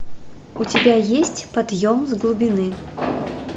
у тебя есть подъем с глубины